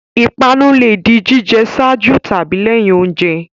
Ìpanu le di jíjẹ ṣáájú tàbí lẹ́yìn oúnjẹ.